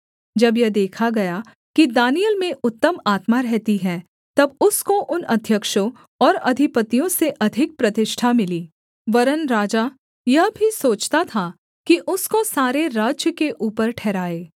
जब यह देखा गया कि दानिय्येल में उत्तम आत्मा रहती है तब उसको उन अध्यक्षों और अधिपतियों से अधिक प्रतिष्ठा मिली वरन् राजा यह भी सोचता था कि उसको सारे राज्य के ऊपर ठहराए